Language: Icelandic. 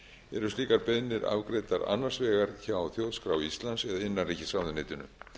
eru slíkar beiðnir afgreiddar annars vegar hjá þjóðskrá íslands eða innanríkisráðuneytinu